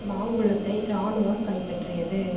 மாங்குளத்தை இராணுவம் கைப்பற்றியது